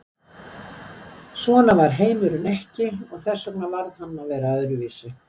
Svona var heimurinn ekki og þess vegna varð hann að vera öðruvísi.